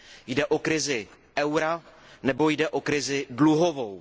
Jde o krizi eura nebo jde o krizi dluhovou?